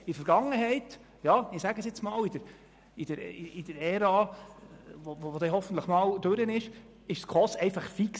In der Vergangenheit – in der Ära, die hoffentlich einmal abgeschlossen sein wird – war die SKOS einfach fix.